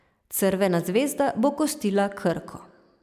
Crvena zvezda bo gostila Krko.